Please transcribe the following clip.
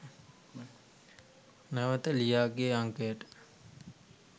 නැවත ලියාගේ අංකයට